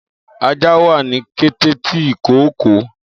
Aja wà ni kete ti ìkookò.